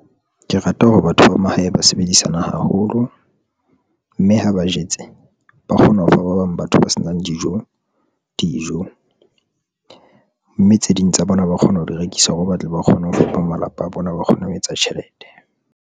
Ke rata hore batho ba mahae ba sebedisana haholo mme ha ba jetse, ba kgona ho fa ba bang batho ba sebetsang dijo, mme tse ding tsa bona ba kgona ho di rekisa hore ba tle ba kgone ho fepa malapa a bona, ba kgona ho etsa tjhelete.